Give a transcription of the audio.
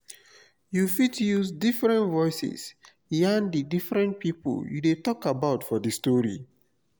you fit use different voices yarn di different pipo you de talk about for di story